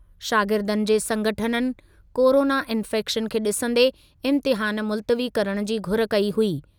शागिर्दनि जे संगठननि कोरोना इंफैक्शन खे ॾिसंदे इम्तिहान मुल्तवी करण जी घुर कई हुई।